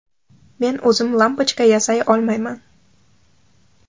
Men o‘zim lampochka yasay olmayman.